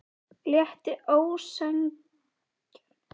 Létti ósegjanlega þegar hann kom aftur út.